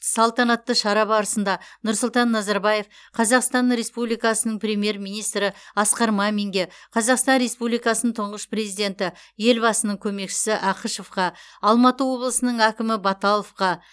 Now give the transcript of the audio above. салтанатты шара барысында нұрсұлтан назарбаев қазақстан республикасының премьер министрі асқар маминге қазақстан республикасының тұңғыш президенті елбасының көмекшісі ақышевқа алматы облысының әкімі баталовқа